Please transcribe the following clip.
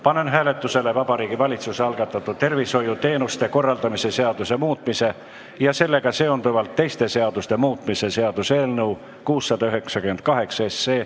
Panen hääletusele Vabariigi Valitsuse algatatud tervishoiuteenuste korraldamise seaduse muutmise ja sellega seonduvalt teiste seaduste muutmise seaduse eelnõu 698.